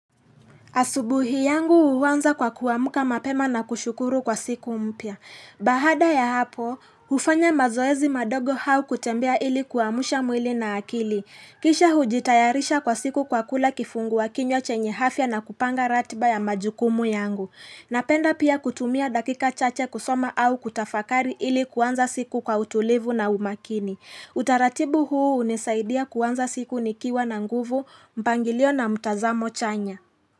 Asubuhi yangu huanza kwa kuamka mapema na kushukuru kwa siku mpya. Baada ya hapo, hufanya mazoezi madogo au kutembea ili kuamsha mwili na akili. Kisha hujitayarisha kwa siku kwa kula kifungua kinywa chenye afya na kupanga ratiba ya majukumu yangu. Napenda pia kutumia dakika chache kusoma au kutafakari ili kuanza siku kwa utulivu na umakini. Utaratibu huu unisaidia kuanza siku nikiwa na nguvu, mpangilio na mtazamo chanya.